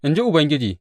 In ji Ubangiji.